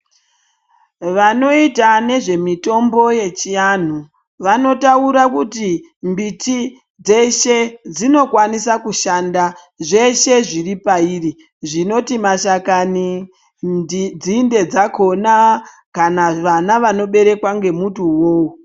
Vanoita nezvemitombo yechianhu, vanotaura kuti mbiti dzeshe dzinokwanisa kushanda, zveshe zviri pairi zvinoti ,mashakani, nzinde dzakhonaa, kana vana vanoberekwa ngemuti uwowo.